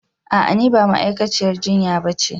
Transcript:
A'a ni ba ma'aikaciyar jinya ba ce